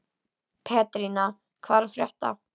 Pétrína, hvað er að frétta?